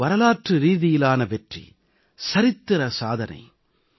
இது ஒரு வரலாற்று ரீதியிலான வெற்றி சரித்திர சாதனை